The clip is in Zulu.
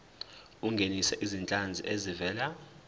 ungenise izinhlanzi ezivela